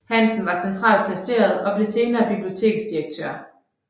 Hansen var centralt placeret og blev senere biblioteksdirektør